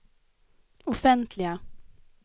offentliga